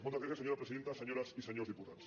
moltes gràcies senyora presidenta senyores i senyors diputats